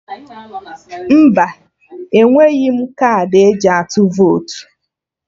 Mba, enweghị m kaadị eji atụ votu